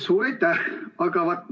Suur aitäh!